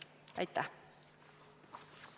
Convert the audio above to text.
Aitäh!